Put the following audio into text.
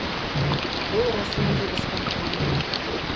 бұл расымен де испан тілі ме